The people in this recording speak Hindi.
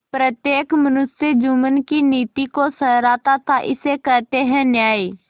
प्रत्येक मनुष्य जुम्मन की नीति को सराहता थाइसे कहते हैं न्याय